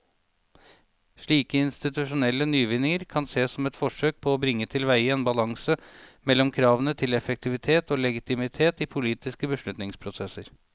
Slike institusjonelle nyvinninger kan sees som forsøk på å bringe tilveie en balanse mellom kravene til effektivitet og legitimitet i politiske beslutningsprosesser.